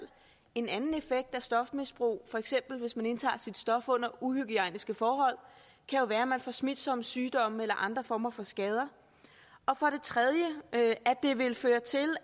en anden effekt af stofmisbrug for eksempel hvis man indtager sit stof under uhygiejniske forhold kan jo være at man får smitsomme sygdomme eller andre former for skader og for det tredje at det ville føre til